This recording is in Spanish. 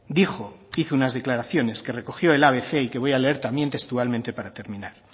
dijo hizo unas declaraciones que recogió el abc y que voy a leer también textualmente para terminar